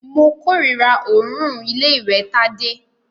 Mo kòrira òórùn ilé ìwẹ̀ Tádé.